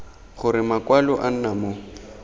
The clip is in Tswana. gore makwalo a nna mo